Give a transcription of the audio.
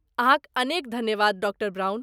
अहाँक अनेक धन्यवाद, डॉ ब्राउन।